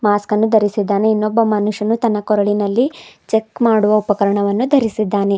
ಮಾಸ್ಕನ್ನು ಧರಿಸಿದ್ದಾನೆ ಇನ್ನೊಬ್ಬ ಮನುಷ್ಯನು ತನ್ನ ಕೊರಳಿನಲ್ಲಿ ಚೆಕ್ ಮಾಡುವ ಉಪಕರಣವನ್ನು ಧರಿಸಿದ್ದಾನೆ.